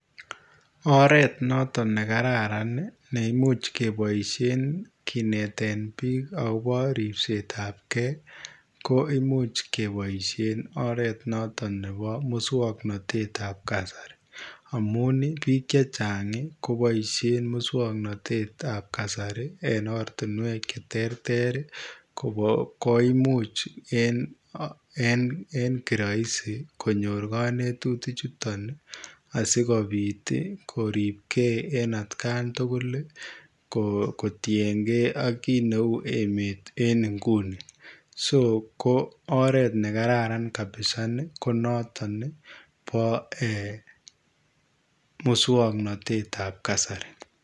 Oret notoon nekararaan ii neimuuch kebaisheen kineteen biik agobo ripseet ab gei ko imuuch kebaisheen oreet nebo musangnatet ab kasari amuun ii biik chechaang ii kobaisheen musangnatet ab kasari en ortinweek che terter koimuuch en kiraisi konyoor kanetutiik chutoon ii asikobiit ii koribgei at Gaan tugul ii kotie gei kiit neu emeet nguni [so] oret nekararaan ko notoon nebo musangnatet ab kasari.